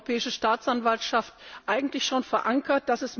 Da ist die europäische Staatsanwaltschaft eigentlich schon verankert.